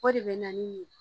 O de bɛ na ni